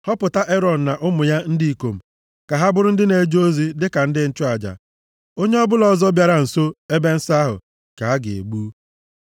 Họpụta Erọn na ụmụ ya ndị ikom ka ha bụrụ ndị na-eje ozi dịka ndị nchụaja. Onye ọbụla ọzọ bịara nso ebe nsọ ahụ ka a ga-egbu.”